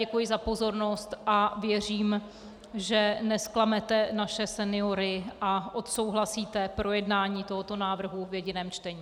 Děkuji za pozornost a věřím, že nezklamete naše seniory a odsouhlasíte projednání tohoto návrhu v jediném čtení.